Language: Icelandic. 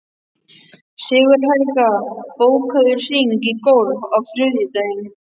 Sigurhelga, bókaðu hring í golf á þriðjudaginn.